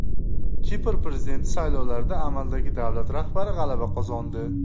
Kipr prezidenti saylovlarida amaldagi davlat rahbari g‘alaba qozondi.